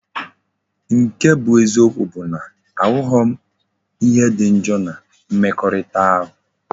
Nke bu eziokwu bu na ahughi m ihe di njo na mmekorita ahu.